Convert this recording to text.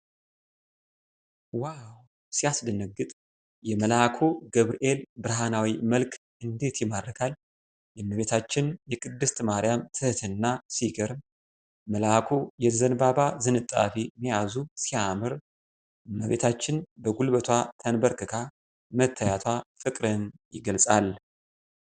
ዋው ሲያስደነግጥ! የመልአኩ ገብርኤል ብርሃናዊ መልክ እንዴት ይማርካል! የእመቤታችን የቅድስት ማርያም ትህትና ሲገርም! መላኩ የዘንባባ ዝንጣፊ መያዙ ሲያምር! እመቤታችን በጉልበቷ ተንበርክካ መታየቷ ፍቅርን ይገልጻል!